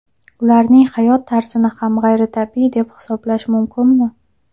Ularning hayot tarzini ham g‘ayritabiiy deb hisoblash mumkinmi?